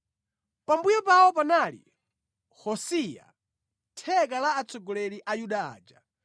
Pambuyo pawo panali Hosayia, theka la atsogoleri a Yuda aja